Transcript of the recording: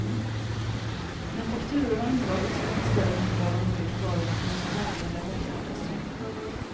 Men fakturorna angav betydligt större mängder av de olika varorna än vad som verkligen levererades.